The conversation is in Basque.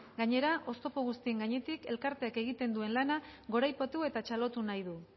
gainera oztopo guztien gainetik elkarteak egiten duen lana goraipatu eta txalotu nahi du